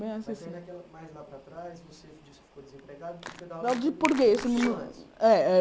Bem mais recente Mais lá para trás, você disse que ficou desempregada, mas foi. Dar aula de português é é